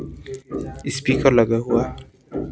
Speaker लगा हुआ है।